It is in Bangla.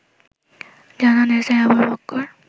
জানান এসআই আবু বক্কর